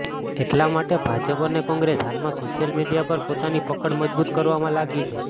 એટલા માટે ભાજપ અને કોંગ્રેસ હાલમાં સોશિયલ મીડિયા પર પોતાની પકડ મજબૂત કરવામાં લાગી છે